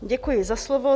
Děkuji za slovo.